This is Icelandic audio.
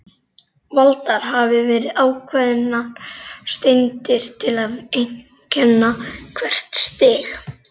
Valdar hafa verið ákveðnar steindir til að einkenna hvert stig.